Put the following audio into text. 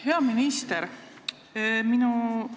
Hea minister!